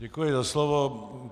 Děkuji za slovo.